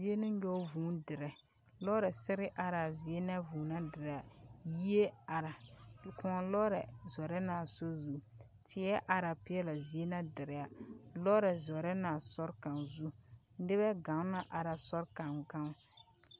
Zie ne nyɔ vūū dire. Lɔɔre na ser araa zie na a vūū na diraa. Yie ara, kōɔ lɔɔre zɔrɛ na a sɔr zu. Teɛ ara peɛle a zie na a vūū na dira. Lɔɔre zɔrɛ na sɔr kaŋ zuŋ, nebɛ gaŋ na ara sɔr gaŋe gaŋ.